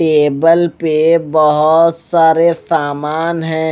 Table पे बहोत सारे सामान है।